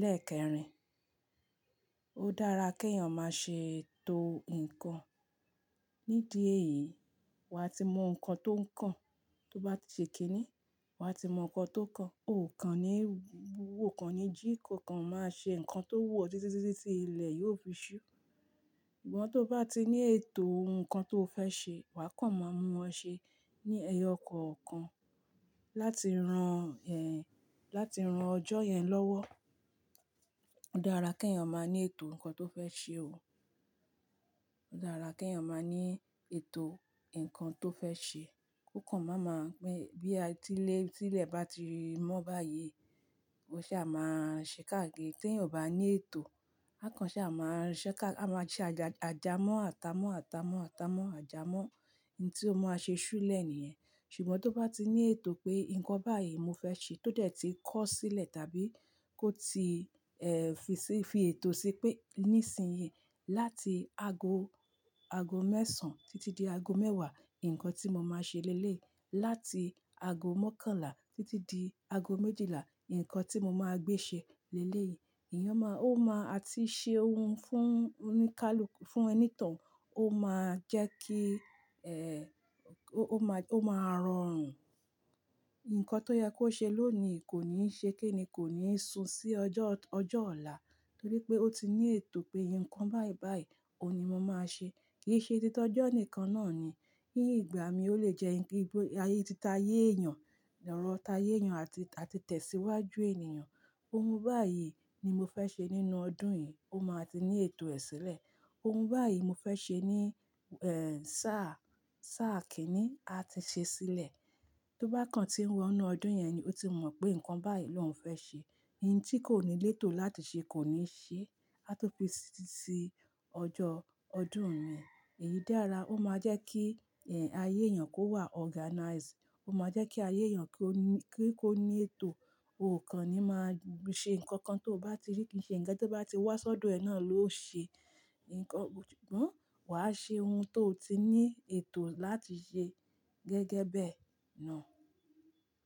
lẹ́ẹ̀kẹrin. Ó dára kí èèyàn máa ṣe ètò ǹkan. Nídi èyí, wà á ti mọ ǹkan tó ǹkan, tó bá ti ṣèki ní, wà á ti mọ ǹkan tó ǹkan. Ó kan ni jí kò kan má ṣe nkan tó wù ọ́ọ títí títí ilẹ̀ yóò fi ṣú. Ṣùgbọ́n tó bá ti ní ètò ǹkan tó fẹ́ ṣe, wá a kàn máa mú wọn ṣe ní ẹyọ kọ̀ọ̀kan, láti ran ẹ, láti ran ọjọ́ yẹn lọ́wọ́. Ó dára kí èèyàn máa ní ètò ǹkan tó fẹ́ ṣe o. Ó dára kí èèyàn máa ní ètò ǹkan tó fẹ́ ṣe. Kò kàn máa mọ̀ pé bí a ti lé, tí ilẹ̀ bá ti mọ́ báyìí, ó ṣa máa ṣe káàkiri. Tí èèyàn ò bá ní ètò, a kàn ṣa máa rí i ṣẹ́ ká, a máa jẹ àjà, àjámọ̀ àtà mọ́ àtà mọ́ àtà mọ́ àjà mọ́, n tí ó máa ṣe ṣúlẹ̀ nìyẹn. Ṣùgbọ́n tó bá ti ní ètò pé nǹkan báyì ni mo fẹ́ ṣe tó dé tí kó sílé tàbí kò tí e fi ètò sí pé nísinyì láti ago ago mẹ́sàn títí di ago mẹ́wàá, ǹkan tí mo máa ṣe lélẹ̀yi, láti ago mọ́kànlá títí di ago méjìlá, ǹkan tí mo máa gbé ṣe lélẹ̀ yìí, èèyàn máa, ó máa, a ti ṣe ohun fún oníkálukú, fún ẹni tán, ó máa jẹ́ kí, eh, ó máa, ó máa rọrùn. Ǹkan tó yẹ kó ṣe lónìí kò ní ṣe kí ní, kò ní sún sí ọjọ́, ọjọ́ ọ̀la, torí pé ó ti ní ètò pé nǹkan báyìí báyìí òun ni mo máa ṣe. Kì í ṣe títọ́jọ́ nìkan náà ni. Ní ìgbà mi ó lè jẹ́ wípé ayé ti ta ayé èèyàn, ọ̀rọ̀ ta ayé èèyàn àti, àti tẹ̀síwájú ènìyàn. Ohun báyìí ni mo fẹ́ ṣe nínú ọdún yìí, ó máa ti ní ètò ẹ sílẹ̀. Ohun báyìí mo fẹ́ ṣe ní, eh, sáà, sáà kínní, a ti ṣe sílẹ̀. Tó bá kàn tí ń wọ inú ọdún yẹn ni ó ti mọ̀ pé nǹkan báyìí ló ń fẹ́ ṣe. Ntí kò ní létò láti ṣe kò ní ṣe, á tó fi sí, sí ọjọ́ ọdún mi. Èyí dára, ó máa jẹ́ kí, eh, ayé èèyàn kó wà organize, ó máa jẹ́ kí ayé èèyàn kí ó ní, kí kó ní ètò. Ó kàn ni máa ṣe ǹkan kan tó bá ti rí, kì í ṣe ǹkan tó bá ti wá sọ́dọ̀ ẹ náà ló ṣe ǹkan. Ṣùgbọ́n wà á ṣe ohun tó ti ní ètò láti ṣe gẹ́gẹ́ bẹ̀ náà.